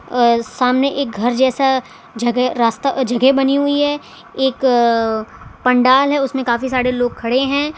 आ सामने एक घर जैसा जगह रास्ता अ जगह बनी हुई है एक पंडाल है उसमें काफी सारे लोग खड़े हैं।